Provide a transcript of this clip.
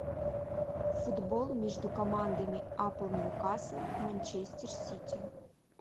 футбол между командами апл ньюкасл манчестер сити